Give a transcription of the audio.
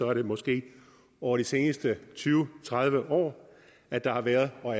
er det måske over de seneste tyve tredive år at der har været og